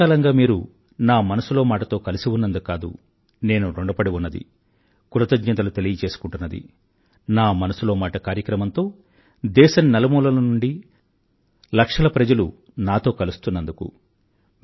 ఇంతకాలంగా మీరు నా మనసులో మాట తో కలిసిఉన్నందుకు కాదు నేను ఋణపడి ఉన్నది కృతజ్ఞతలు తెలియజేసుకుంటున్న నా మనసులో మాట కార్యక్రమంతో దేశం నలుమూలల నుండీ లక్షల ప్రజలు నాతో కలుస్తున్నందుకు